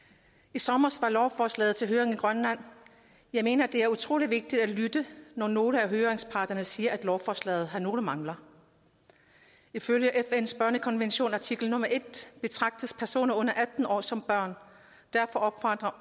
i sommer var lovforslaget til høring i grønland jeg mener det er utrolig vigtigt at lytte når nogle af høringsparterne siger at lovforslaget har nogle mangler ifølge fns børnekonvention artikel nummer en betragtes personer under atten år som børn derfor